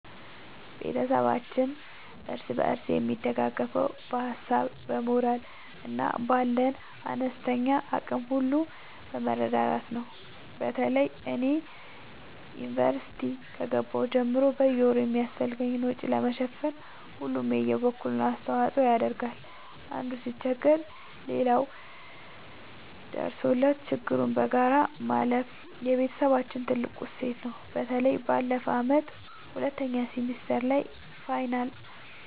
ቤተሰባችን እርስ በርስ የሚደጋገፈው በሀሳብ፣ በሞራል እና ባለን አነስተኛ አቅም ሁሉ በመረዳዳት ነው። በተለይ እኔ ዩኒቨርሲቲ ከገባሁ ጀምሮ በየወሩ የሚያስፈልገኝን ወጪ ለመሸፈን ሁሉም የበኩሉን አስተዋጽኦ ያደርጋል። አንዱ ሲቸገር ሌላው ደርሶለት ችግሩን በጋራ ማለፍ የቤተሰባችን ትልቅ እሴት ነው። በተለይ ባለፈው ዓመት ሁለተኛ ሴሚስተር ላይ የፋይናል